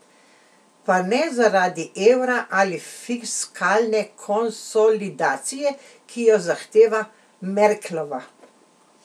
Pa ne zaradi evra ali fiskalne konsolidacije, ki jo zahteva Merklova.